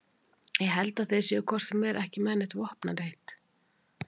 Ég held að þeir séu hvort sem er ekki með neitt vopnaleit